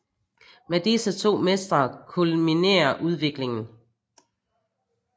Med disse to mestre kulminerer udviklingen